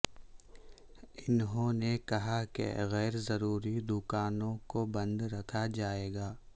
انہوں نے کہا کہ غیر ضروری دوکانوں کو بند رکھا جائے گا